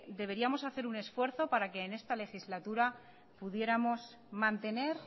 deberíamos de hacer un esfuerzo para que en esta legislatura pudiéramos mantener